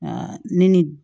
ne ni